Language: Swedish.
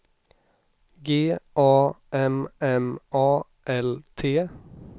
G A M M A L T